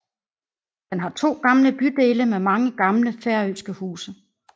Den har to gamle bydele med mange gamle færøske huse